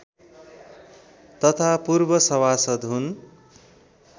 तथा पूर्व सभासद् हुन्